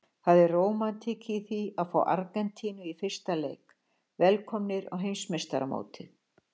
Það er rómantík í því að fá Argentínu í fyrsta leik, velkomnir á heimsmeistaramótið.